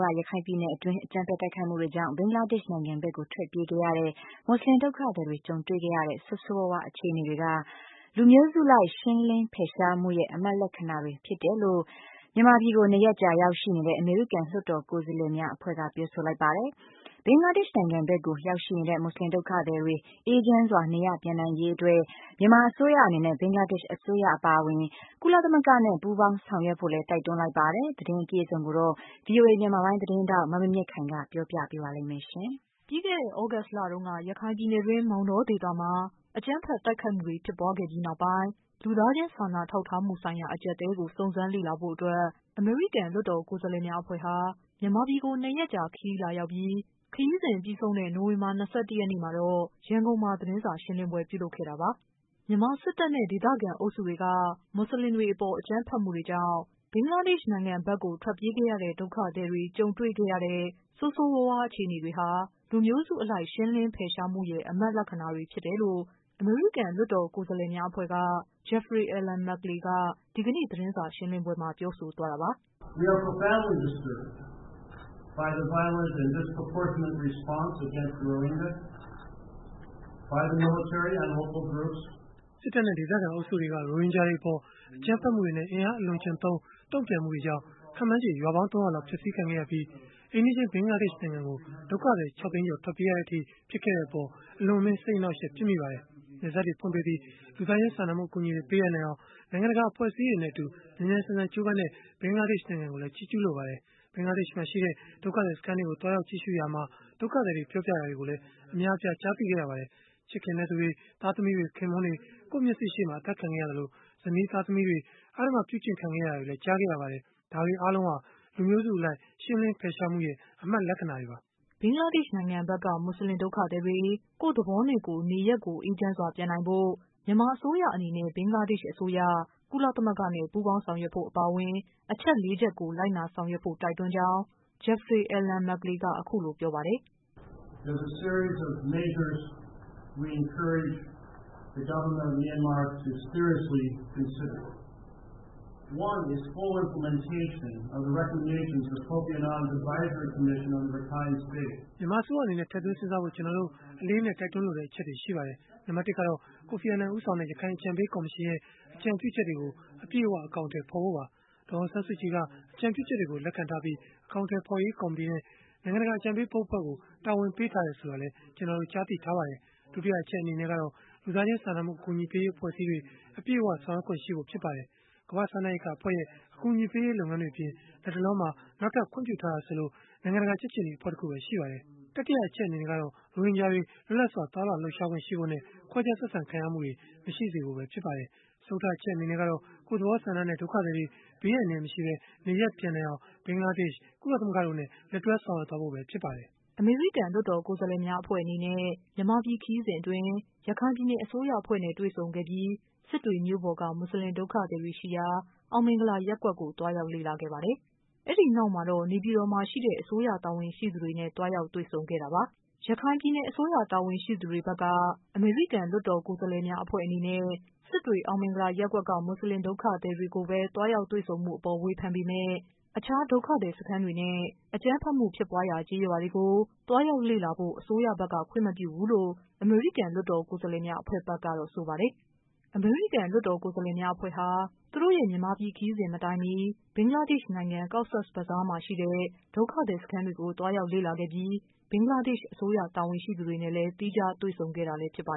က ရခိုင်ပြည်နယ်တွင်း အကြမ်းဖက် တိုက်ခိုက်မှုတွေကြောင့် ဘင်္ဂလားဒေ့ရှ် နိုင်ငံဘက်ကို ထွက်ပြေးခဲ့ရတဲ့ မွတ်ဆလင်ဒုက္ခသည်တွေ ကြုံတွေ့ခဲ့ရတဲ့ ဆိုးဆိုးဝါးဝါး အခြေအနေတွေက လူမျိုးစုလိုက် ရှင်းလင်းဖယ်ရှားမှုရဲ့ အမှတ်လက္ခဏာတွေ ဖြစ်တယ်လို့လည်း မြန်မာပြည်ကို ၂ရက်ကြာ ရောက်ရှိနေတဲ့ အမေရိကန် လွှတ်တော် ကိုယ်စားလှယ်များအဖွဲ့က ပြောဆိုလိုက်ပါ တယ်။ ဘင်္ဂလားဒေ့ရှ် နိုင်ငံဖက်ကို ရောက်ရှိနေတဲ့ မွတ်ဆလင် ဒုက္ခသည်တွေ အေးချမ်းစွာ နေရပ်ပြန် နိုင်ရေးအတွက် မြန်မာအစိုးရအနေနဲ့ ဘင်္ဂလားဒေ့ရှ် အစိုးရအပါအဝင် ကုလသမဂ္ဂနဲ့ ပူးပေါင်း ဆောင်ရွက်ဖို့လည်း တိုက်တွန်းလိုက်ပါတယ်။ သတင်း အပြည့်အစုံကိုတော့ ဗွီအိုအေ မြန်မာပိုင်း သတင်း ထောက် မမြင့်မြင့်ခိုင်က ပြောပြပေးပါမယ်။ ပြီးခဲ့တဲ့ သြဂုတ်လတုန်းက ရခိုင်ပြည်နယ်တွင်း မောင်တောဒေသမှာ အကြမ်းဖက်မှု တိုက်ခိုက်မှုတွေ ဖြစ်ပွားခဲ့ပြီး နောက်ပိုင်း လူသားချင်းစာနာထောက်ထားမှုဆိုင်ရာ အကျပ်အတည်းကို စုံစမ်းလေ့လာဖို့ အတွက် အမေရိကန် လွှတ်တော်ကိုယ်စားလှယ်များအဖွဲ့ဟာ မြန်မာပြည်ကို ၂ရက်ကြာခရီး လာရောက်ပြီး ခရီးစဉ်ပြီးဆုံးတဲ့ နိုဝင်ဘာ ၂၁ရက်နေ့မှာတော့ ရန်ကုန်မှာ သတင်းစာရှင်းလင်းပွဲပြုလုပ်ခဲ့တာပါ။ မြန်မာစစ်တပ်နဲ့ ဒေသခံအုပ်စုတွေက မွတ်ဆလင်တွေအပေါ် အကြမ်းဖက်မှုတွေကြောင့် ဘင်္ဂလားဒေ့ရှ် နိုင်ငံဘက်ကို ထွက်ပြေးခဲ့ရတဲ့ ဒုက္ခသည်တွေ ကြုံတွေ့ခဲ့ရတဲ့ ဆိုးဆိုးဝါးဝါးအခြေအနေတွေဟာ လူမျိုးစု အလိုက် ရှင်းလင်းဖယ်ရှားမှုရဲ့ အမှတ်လက္ခဏာတွေဖြစ်တယ်လို့ အမေရိကန် လွှတ်တော် ကိုယ်စား လှယ်အဖွဲ့က Jeffrey Alan Merkley က ဒီကနေ့ သတင်းစာရှင်းလင်းပွဲမှာ ပြောဆိုသွားပါတယ်။ “စစ်တပ်နဲ့ ဒေသခံအုပ်စုတွေက ရိုဟင်ဂျာတွေအပေါ် အကြမ်းဖက်မှုတွေနဲ့ အင်အားအလွန်အကျွံသုံး တုန့်ပြန်မှုတွေကြောင့်၊ ခန့်မှန်းချေ ရွာပေါင်း ၃၀၀ လောက်ဖျက်ဆီးခံခဲ့ရပြီး၊ အိမ်နီးချင်း ဘင်္ဂလားဒေ့ရှ်နိုင်ငံကို ဒုက္ခသည် ၆ သိန်းကျော် ထွက်ပြေးရတဲ့အထိ ဖြစ်ခဲ့တဲ့အပေါ် အလွန်အမင်း စိတ်အနှောက်အယှက် ဖြစ်မိပါတယ်။ နယ်စပ်တွေ ဖွင့်ပေးပြီး၊ လူသားချင်း စာနာမှု အကူအညီတွေ ပေးအပ်နိုင်အောင် နိုင်ငံတကာ အဖွဲ့အစည်းတွေနဲ့ မြန်မြန်ဆန်ဆန် ကြိုးပမ်းခဲ့တဲ့ ဘင်္ဂလားဒေ့ရှ် နိုင်ငံကိုလည်း ချီးကျုးလိုပါတယ်။ ဘင်္ဂလားဒေ့ရှ်မှာရှိတဲ့ ဒုက္ခသည်စခန်းတွေကို သွားရောက် ကြည့်ရှုရမှာ၊ ဒုက္ခသည်တွေက ပြောပြတာတွေကိုလည်း အများအပြား ကြားသိခဲ့ရပါတယ်။ ချစ်ခင်တဲ့သူတွေ၊ သားသမီးတွေ၊ ခင်ပွန်းတွေ ကိုယ့်မျက်စေ့ရှိမှာ အသတ်ခံခဲ့ရသလို၊ ဇနီးတွေ၊ သမီးတွေ အဓမ္မကျင့်ခံခဲ့ရတာတွေလည်း ကြားခဲ့ရပါတယ်။ ဒါတွေအားလုံးဟာ လူမျိုးစုအလိုက် ရှင်းလင်းဖယ်ရှားမှုရဲ့ အမှတ်လက္ခဏာတွေပါ။” ဘင်္ဂလားဒေ့ရှ်နိုင်ငံဘက်က မွတ်ဆလင် ဒုက္ခသည်တွေ ကိုယ့်သဘောနဲ့ကိုယ် နေရပ်ကို အေးချမ်းစွာ ပြန်နိုင်ဖို့ မြန်မာအစိုးရအနေနဲ့ ဘင်္ဂလားဒေ့ရှ်အစိုးရ၊ ကုလသမဂ္ဂနဲ့ ပူးပေါင်းဆောင်ရွက်ဖို့ အပါအဝင် အချက်လေးချက်ကို လိုက်နာဆောင်ရွက်ဖို့ တိုက်တွန်းကြောင်း Jeffrey Alan Merkley က အခုလို ပြောပါတယ်။ "မြန်မာအစိုးရ အနေနဲ့ ထည့်သွင်းစဉ်းစားဖို့ ကျနော်တို့ အလေးအနက် တိုက်တွန်းလိုတဲ့ အချက်တွေ ရှိပါတယ်။ နံပတ် ၁ ကတော့ ကိုဖီအာနန်ဦးဆောင်တဲ့ ရခိုင်အကြံပေး ကော်မရှင်ရဲ့ အကြံပြုချက်တွေကို အပြည့်အ၀ အကောင်အထည် ဖော်ဖို့ပါ။ ဒေါ်အောင်ဆန်းစုကြည်က အကြံပြုချက်တွေကို လက်ခံထားပြီး၊ အကောင်အထည်ဖော်ရေး ကော်မတီနဲ့ နိုင်ငံတကာ အကြံပေးဘုတ်အဖွဲ့ကို တာဝန်ပေးထားတယ် ဆိုတာလည်း ကျနော်တို့ ကြားသိထားပါတယ်။ ဒုတိယအချက်အနေနဲ့ကတော့ လူသားချင်းစာနာမှု အကူအညီပေးရေး အဖွဲ့အစည်းတွေ အပြည့်အ၀ ဆောင်ရွက်ခွင့် ရှိဖို့ဖြစ်ပါတယ်။ ကမ္ဘာ့စားနပ်ရိက္ခာအဖွဲ့ရဲ့ အကူအညီပေးရေး လုပ်ငန်းတွေအပြင် လတ်တလောမှာ နောက်ထပ်ခွင့်ပြုထားတာဆိုလို့ နိုင်ငံတကာ ကြက်ခြေနီအဖွဲ့ တခုပဲ ရှိပါတယ်။ တတိယအချက်အနေနဲ့ကတော့ ရိုဟင်ဂျာတွေ လွတ်လပ်စွာသွားလာလှုပ်ရှားခွင့် ရှိဖို့နဲ့ ခွဲခြားဆက်ဆံ ခံရမှုတွေ မရှိစေဖို့ ဖြစ်ပါတယ်။ စတုတ္ထအချက်အနေနဲ့ကတော့ ကိုယ့်သဘောဆန္ဒနဲ့ ဒုက္ခသည်တွေ ဘေးအန္တရာယ် မရှိဘဲ နေရပ်ပြန်နိုင်အောင် ဘင်္ဂလားဒေ့ရှ်၊ ကုလသမဂ္ဂတို့နဲ့ လက်တွဲဆောင်ရွက်ဖို့ ဖြစ်ပါတယ်။" အမေရိကန် လွှတ်တော် ကိုယ်စားလှယ်များအဖွဲ့အနေနဲ့ မြန်မာပြည်ခရီးစဉ်အတွင်း ရခိုင်ပြည်နယ် အစိုး ရအဖွဲ့နဲ့ တွေ့ဆုံခဲ့ပြီး စစ်တွေ မြို့ပေါ်က မွတ်ဆလင်ဒုက္ခသည်တွေရှိရာ အောင်မင်္ဂလာ ရပ်ကွက်ကို သွား ရောက်ခဲ့ပါတယ်။ အဲ့ဒီနောက် နေပြည်တော်မှာရှိတဲ့ အစိုးရတာဝန်ရှိသူတွေနဲ့ သွားရောက်တွေ့ဆုံခဲ့တာ ပါ။ ရခိုင်ပြည်နယ်အစိုးရ တာဝန်ရှိသူတွေဘက်က အမေရိကန် လွှတ်တော်ကိုယ်စား လှယ်များအဖွဲ့အနေနဲ့ စစ် တွေ အောင်မင်္ဂလာရပ်ကွက်က မွတ်ဆလင်ဒုက္ခသည်တွေကိုပဲ သွားရောက် တွေ့ဆုံမှုအပေါ် ဝေဖန် ပေမယ့် အခြား ဒုက္ခသည်စခန်းတွေနဲ့ အကြမ်းဖက်မှုဖြစ်ပွားရာ ကျေးရွာတွေကို သွားရောက်ဖို့ အစိုးရဘက်က ခွင့်မပြုဘူးလို့ အမေရိကန် လွှတ်တော်ကိုယ်စားလှယ်များ အဖွဲ့ဘက်ကတော့ ဆိုပါ တယ်။ အမေရိကန် လွှတ်တော်ကိုယ်စားလှယ်များအဖွဲ့ဟာ သူတို့ရဲ့ မြန်မာပြည်ခရီးစဉ်မတိုင်မီ ဘင်္ဂလား ဒေ့ရှ် နိုင်ငံ Cox’s Bazar မှာရှိတဲ့ ဒုက္ခသည်စခန်းတွေကို သွားရောက်လေ့လာ ခဲ့ပြီး ဘင်္ဂလားဒေ့ရှ် အစိုးရ တာ ဝန်ရှိသူတွေနဲ့ သီးခြားတွေ့ဆုံခဲ့တာလည်း ဖြစ်ပါ